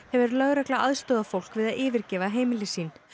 hefur lögregla aðstoðað fólk við að yfirgefa heimili sín